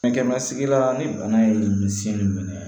Fɛnkɛ masigi la ni bana ye min si minɛ